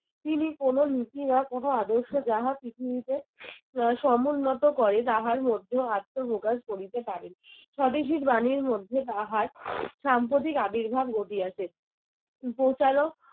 তিনি কোনো নীতি বা কোনো আদর্শ যাহা পৃথিবীতে সমুন্নত করে তাহার মধ্যেও আত্মপ্রকাশ করিতে পারেন। স্বদেশীর বাণীর মধ্যে তাহার সাম্প্রতিক আবির্ভাব গঠিয়াছে। উপ চালক